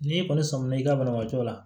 N'i kɔni sɔmina i ka banabaatɔ la